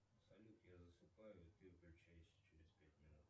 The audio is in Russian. салют я засыпаю и ты выключайся через пять минут